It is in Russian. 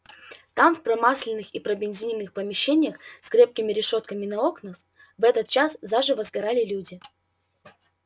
там в промасленных и пробензиненных помещениях с крепкими решётками на окнах в этот час заживо сгорали люди